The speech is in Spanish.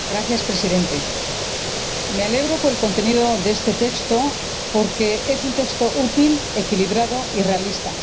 Señor Presidente, me alegro por el contenido de este texto porque es un texto útil, equilibrado y realista.